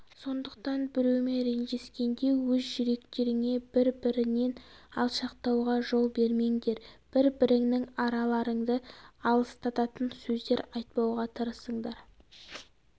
сондықтан біреумен ренжіскенде өз жүректеріңе бір бірінен алшақтауға жол бермеңдер бір біріңнің араларыңды алыстататын сөздер айтпауға тырысыңдар